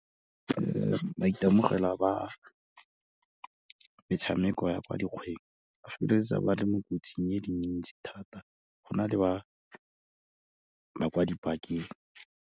maitemogelo a ba metshameko ya kwa dikgweng, ba feleletsa ba le mo kotsing e leng ntsi thata, go na le ba ba kwa di-park-eng.